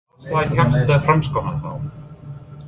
Hvar slær hjarta Framsóknar þá?